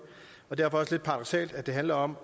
og det også lidt paradoksalt at det handler om